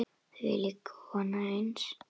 Þvílíkt og annað eins.